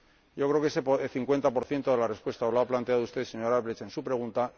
Yo creo que ese cincuenta por ciento de la respuesta lo ha planteado usted, señor Albrecht, en su pregunta.